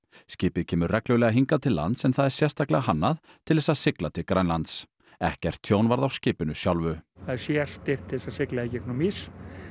skipið kemur reglulega hingað til lands en það er sérstaklega hannað til þess að sigla til Grænlands ekkert tjón varð á skipinu sjálfu það er sérstyrkt til þess að sigla í gegnum ís